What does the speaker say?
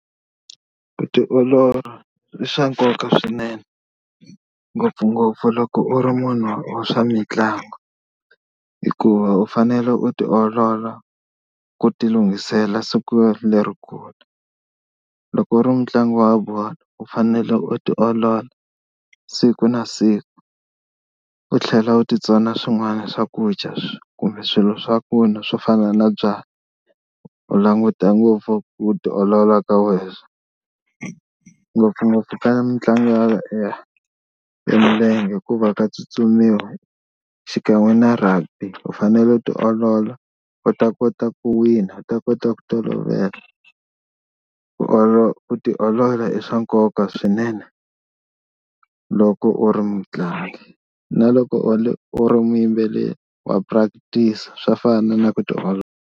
Ku tiolola i swa nkoka swinene ngopfungopfu loko u ri munhu wa swa mitlangu hikuva u fanele u tiolola ku ti lunghisela siku leri kulu. Loko u ri mutlangi wa bolo u fanele u tiolola siku na siku, u tlhela u titsona swin'wana swakudya kumbe swilo swaku n'wa swo fana na byalwa. U languta ngopfu ku tiolola ka wena ngopfungopfu ka mitlangu ya ya bolo ya milenge hikuva ka tsutsumiwa xikan'we na Rugby u fanele u tiolola u ta kota ku wina u ta kota ku tolovela. Ku ku tiolola i swa nkoka swinene loko u ri mutlangi na loko u ri u ri muyimbeleri wa practice swa fana na ku tiolola.